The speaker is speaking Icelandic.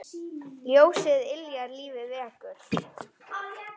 Ljósið yljar lífið vekur.